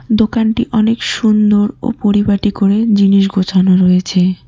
দোকানটি অনেক সুন্দর ও পরিপাটি করে জিনিস গোছানো রয়েছে।